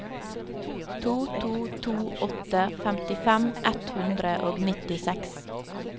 to to to åtte femtifem ett hundre og nittiseks